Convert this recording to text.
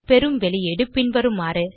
பெறும் வெளியீடு பின்வருமாறு